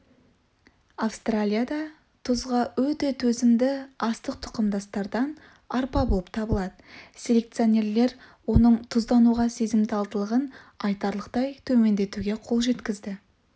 австралияда тұзға өте төзімді астық тұқымдастардан арпа болып табылады селекционерлер оның тұздануға сезімталдығын айтарлықтай төмендетуге қол жеткізді